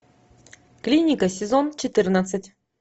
клиника сезон четырнадцать